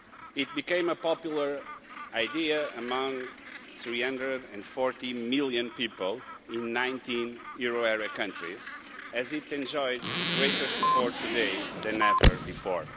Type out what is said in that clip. It became a popular idea among 340 million people in 19 euro area countries as it enjoys greater support today than ever before.